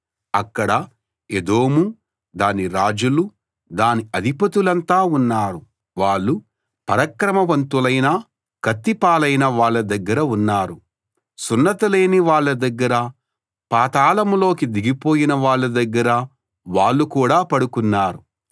అక్కడ ఎదోము దాని రాజులు దాని అధిపతులంతా ఉన్నారు వాళ్ళు పరాక్రమవంతులైనా కత్తి పాలైన వాళ్ళ దగ్గర ఉన్నారు సున్నతి లేని వాళ్ళ దగ్గర పాతాళంలోకి దిగిపోయిన వాళ్ళ దగ్గర వాళ్ళు కూడా పడుకున్నారు